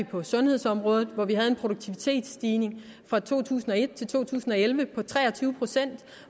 på sundhedsområdet hvor vi havde en produktivitetsstigning fra to tusind og et til to tusind og elleve på tre og tyve procent